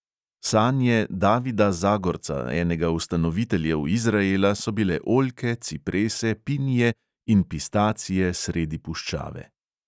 Sanje davida zagorca, enega ustanoviteljev izraela, so bile oljke, ciprese, pinije in pistacije sredi puščave.